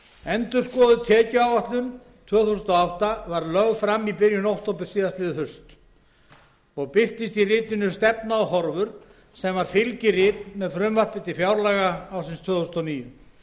endurskoðuð tekjuáætlun tvö þúsund og átta var lögð fram í byrjun október síðastliðið haust og birtist í ritinu stefna og horfur sem var fylgirit með frumvarpi til fjárlaga ársins tvö þúsund og níu